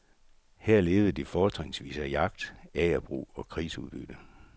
Her levede de fortrinsvis af jagt, agerbrug og krigsudbytte.